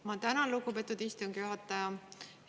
Ma tänan, lugupeetud istungi juhataja!